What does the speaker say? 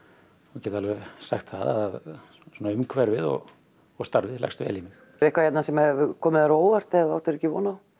get alveg sagt það að svona umhverfið og og starfið leggst vel í mig er eitthvað hérna sem hefur komið þér á óvart eða þú áttir ekki von á